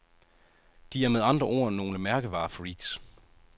De er med andre ord nogle mærkevarefreks.